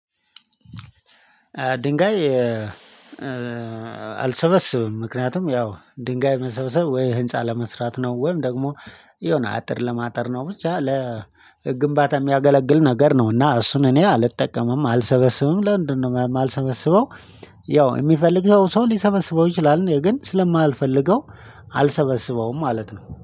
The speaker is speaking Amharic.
ድንጋይ አልሰበስብም ምክንያቱም ያው ድንጋይ መሰብሰብ ወይ ህንፃ ለመስራት ነው ወይም ደግሞ የሆነ አጥር ለማጥር ነው ብቻ ለግንባታ የሚያገለግል ነገር ነው እና እሱን እኔ አልጠቀምም አልሰበስብም ለምንድነው የማልሰበስበው? ያው የሚፈልገው ሰው ሊሰበስበው ይችላል እኔ ግን ስለማልፈልገው አልሰበሰበውም ማለት ነው